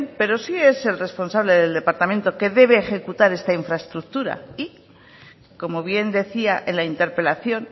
pero sí es el responsable del departamento que debe ejecutar esta infraestructura y como bien decía en la interpelación